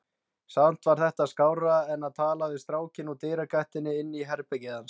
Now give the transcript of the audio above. Samt var þetta skárra en að tala við strákinn úr dyragættinni inn í herbergið hans.